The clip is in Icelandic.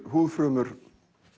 húðfrumur